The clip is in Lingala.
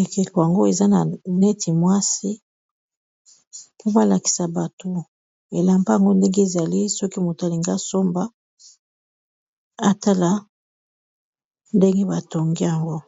ekeko yango eza na neti mwasi po alakisa bato elamba yango ndenge ezali soki moto alingi asomba atala ndenge batongi yango.